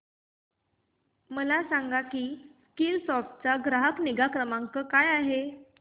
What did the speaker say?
मला सांग की स्कीलसॉफ्ट चा ग्राहक निगा क्रमांक काय आहे